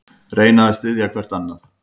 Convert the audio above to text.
Reyna að styðja hvert annað